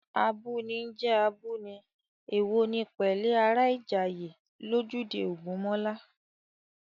Abúni ń jẹ́ abúni, èwo ni pẹ̀lẹ́ ará Ìjàyè, lójúde Ògúnmọ́lá